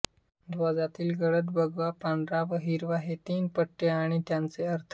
ध्वजातील गडद भगवा पांढरा व हिरवा हे तीन रंगीत पट्टे आणि त्यांचे अर्थ